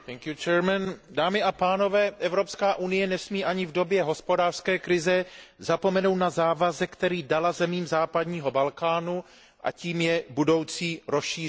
Dámy a pánové, Evropská unie nesmí ani v době hospodářské krize zapomenout na závazek, který dala zemím západního Balkánu, a tím je budoucí rozšíření Unie.